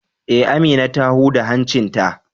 Eh, Amina ta huda hancin ta.